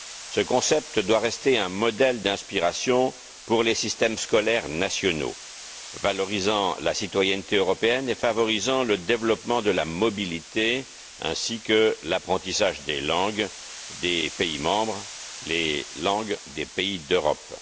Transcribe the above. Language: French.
Ce concept doit rester un modèle d'inspiration pour les systèmes scolaires nationaux, valorisant la citoyenneté européenne et favorisant le développement de la mobilité, ainsi que l'apprentissage des langues des pays membres, les langues des pays d'Europe.